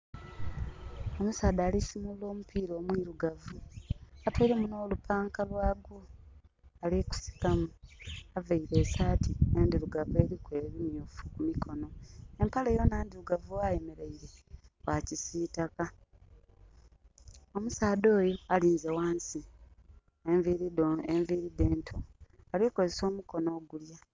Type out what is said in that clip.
Omusaadha alisimulula omupiira omwirugavu, atweiremu nho lupanka lwaku ali gusikamu aveire esati ndhirugavu eriku ebimyufu ku mikonho. Empale yonha ndhirugavu ghayemeleire gha kisitaka. Omusaadha oyo alinze ghansi enviri dhe nto, ali kozesa omukono ogulya.